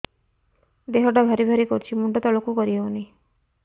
ଦେହଟା ଭାରି ଭାରି କରୁଛି ମୁଣ୍ଡ ତଳକୁ କରି ହେଉନି